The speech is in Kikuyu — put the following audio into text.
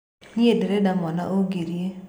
Nĩe ndirĩ mwana ũngerie.